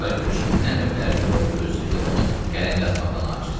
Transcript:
Bicarə Gülsümün nə növ ərinin yolunu gözləyirdi onu qələm yazmaqdan acizdir.